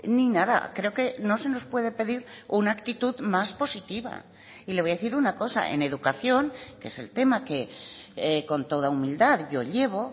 ni nada creo que no se nos puede pedir una actitud más positiva y le voy a decir una cosa en educación que es el tema que con toda humildad yo llevo